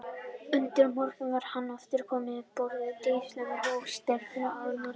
Undir morgun var hann aftur kominn um borð í Dísina og stefndi á Norðurpólinn.